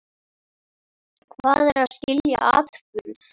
Hvað er að skilja atburð?